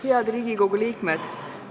Head Riigikogu liikmed!